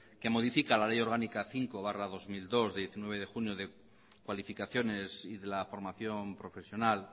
que modifica la ley orgánica cinco barra dos mil dos de diecinueve de junio de cualificaciones y de la formación profesional